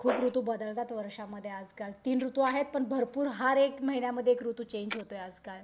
खूप ऋतू बदलतात वर्षांमध्ये आजकाल तीन ऋतू आहेत पण भरपूर हर एक महिन्यामध्ये एक ऋतू चेंज होतो आजकाल.